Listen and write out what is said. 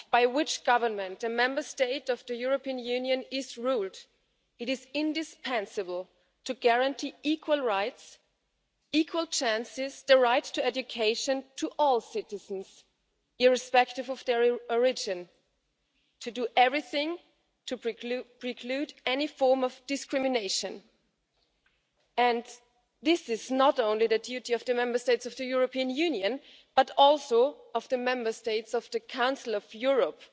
Whichever government a Member State of the European Union is ruled by, it is indispensable to guarantee equal rights, equal chances and the right to education to all citizens, irrespective of their origin, and to do everything to preclude any form of discrimination. This is not only the duty of the Member States of the European Union, but also of the Member States of the Council of Europe.